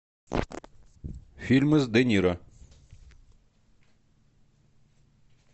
фильмы с де ниро